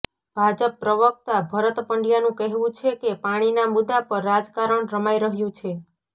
ભાજપ પ્રવક્તા ભરત પંડ્યાનું કહેવું છે કે પાણીના મુદ્દા પર રાજકારણ રમાઈ રહ્યું છે